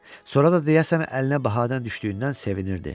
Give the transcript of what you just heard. Sonra da deyəsən əlinə bahadan düşdüyündən sevinirdi.